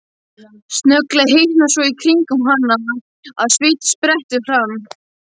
Snögglega hitnar svo í kringum hana að sviti sprettur fram.